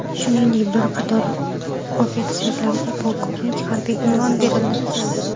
Shuningdek, bir qator ofitserlarga polkovnik harbiy unvoni berildi.